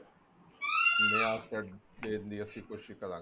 ਨਵਾਂ set ਦੇਣ ਦੀ ਅਸੀਂ ਕੋਸ਼ਿਸ਼ ਕਰਾਂਗੇ